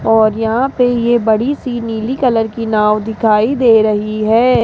और यहां पे ये बड़ी सी नीली कलर की नाव दिखाई दे रही है।